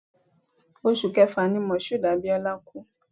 Oṣù Kẹfà ni Moshood Abiola kú